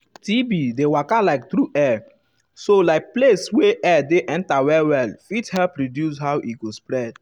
tb dey waka like tru air so like place wey air dey enter well well fit help reduce um how e go spread.